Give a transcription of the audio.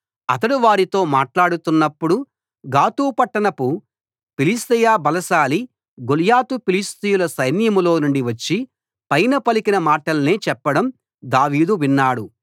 అతడు వారితో మాట్లాడుతున్నప్పుడు గాతు పట్టణపు ఫిలిష్తీయ బలశాలి గొల్యాతు ఫిలిష్తీయుల సైన్యంలోనుండి వచ్చి పైన పలికిన మాటల్నే చెప్పడం దావీదు విన్నాడు